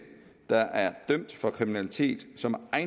der er dømt for kriminalitet som er